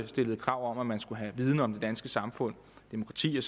stillede krav om at man skulle have viden om det danske samfund demokrati